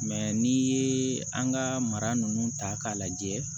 n'i ye an ka mara ninnu ta k'a lajɛ